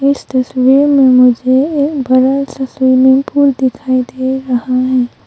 इस तस्वीर में मुझे एक बड़ा सा स्विमिंग पूल दिखाई दे रहा है।